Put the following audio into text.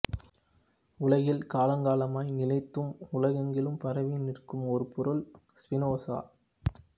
உலகில் காலங்காலமாய் நிலைத்தும் உலகெங்கிலும் பரவியும் நிற்கும் ஒரு பொருள்ஸ்பினோசா